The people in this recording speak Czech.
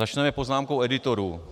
Začněme poznámkou editorů.